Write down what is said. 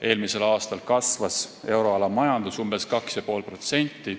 Eelmisel aastal kasvas euroala majandus umbes 2,5%.